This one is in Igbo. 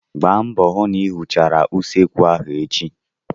Gbaa mbọ hụ na ị hichara usekwu ahụ echi!